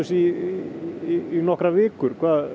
í nokkrar vikur